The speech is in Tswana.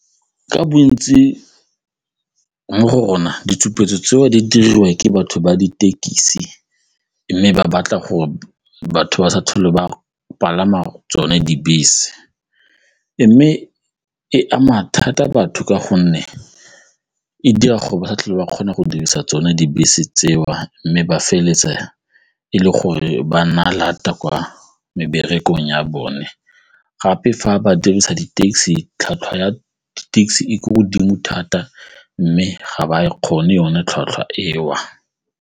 Ka bontsi mo go rona ditshupetso tseo di diriwa ke batho ba ditekisi mme ba batla gore batho ba sa tlhole ba palama tsone dibese mme e ama thata batho ka gonne e dira gore ba sa tlhole ba kgona go dirisa tsone dibese tseo mme ba feleletse e le gore ba na lata kwa meberekong ya bone gape fa ba dirisa di-taxi, tlhwatlhwa ya taxi e ko godimo thata mme ga ba e kgone yone tlhwatlhwa eo.